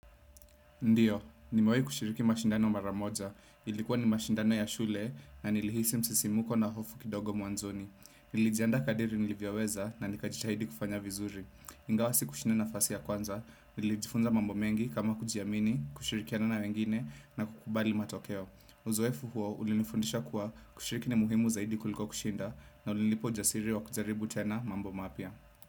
Ndiyo, nimewai kushiriki mashindano mara moja. Ilikuwa ni mashindano ya shule na nilihisi msisimko na hofu kidogo mwanzoni. Nilijiandaa kadiri nilivyoweza na nikajitahidi kufanya vizuri. Ingawa si kushinda nafasi ya kwanza, nilijifunza mambo mengi kama kujiamini, kushirikiana na wengine na kukubali matokeo. Uzoefu huo, ulinifundisha kuwa kushiriki ni muhimu zaidi kuliko kushinda na ulinipa ujasiri wa kujaribu tena mambo mapya.